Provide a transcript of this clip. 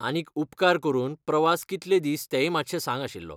आनीक, उपकार करून प्रवास कितले दीस तेंय मात्शें सांग आशिल्लो.